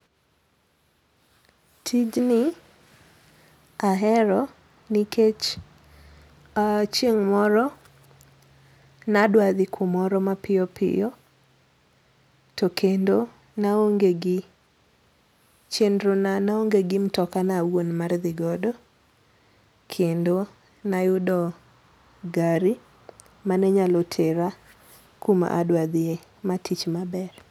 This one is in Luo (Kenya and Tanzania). Tijni ahero nikech chieng' moro nadwa dhi kumoro mapiyo piyo, to kendo na aonge gi chenro na na onge gi mtoka na awuon mar dhi godo to kendo ne ayudo gari mane nyalo tera kuma ne adwaro dhiye, maa tich maber.